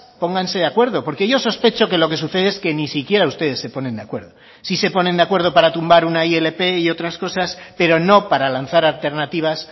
pónganse de acuerdo porque yo sospecho que lo que sucede es que ni siquiera ustedes se ponen de acuerdo sí se ponen de acuerdo para tumbar una ilp y otras cosas pero no para lanzar alternativas